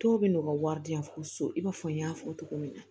Dɔw bɛ n'u ka wari di yan fo so i b'a fɔ n y'a fɔ cogo min na